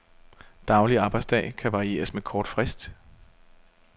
Daglig arbejdsdag kan varieres med kort frist.